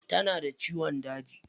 Tana da ciyon daji.